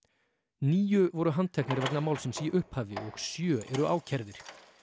níu voru handteknir vegna málsins í upphafi og sjö eru ákærðir